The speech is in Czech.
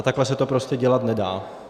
A takhle se to prostě dělat nedá.